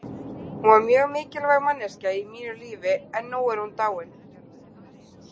Hún var mjög mikilvæg manneskja í mínu lífi en nú er hún dáin.